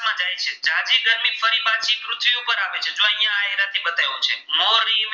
મોરલી છે.